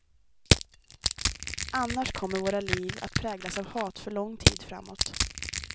Annars kommer våra liv att präglas av hat för lång tid framåt.